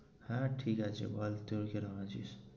হ্যা ঠিক. আছি বল যুই কিরম আছিস?